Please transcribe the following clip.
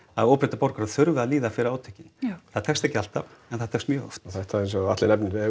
að óbreyttir borgarar þurfi að líða fyrir átökin það tekst ekki alltaf en það tekst mjög oft og þetta eins og Atli nefnir